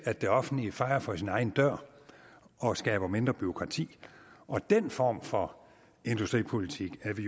at det offentlige fejer for sin egen dør og skaber mindre bureaukrati og den form for industripolitik er vi